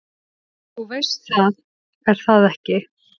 """Þú veist það, er það ekki?"""